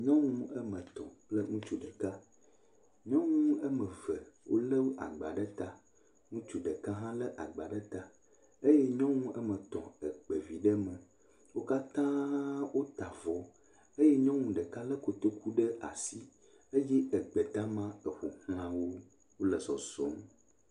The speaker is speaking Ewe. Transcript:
Nyɔŋu eme tɔ̃ kple ŋutsu ɖeka. Nyɔŋu eme ve wole agba ɖe ta. Ŋutsu ɖeka ha le agba ɖe ta. Eye nyɔnu eme tso kpavi ɖe me. Wo katã wota vɔ eye nyɔnu ɖeka le kotoku ɖe asi eye egbe dama tɔ ƒoxlã wo.